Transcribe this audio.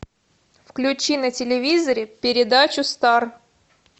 включи на телевизоре передачу стар